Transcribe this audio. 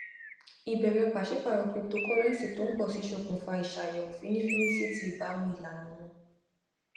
ìbèrè pàṣípàrọ cryptocurrency tó ń pọ sí ṣokùnfà iṣayẹwo fínnífínní si ti ìbámu ìlànà wọn